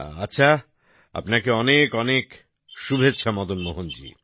আচ্ছা আপনাকে অনেক অনেক শুভেচ্ছা মদন মোহন জি